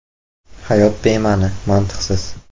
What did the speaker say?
Hayot bema’ni, mantiqsiz.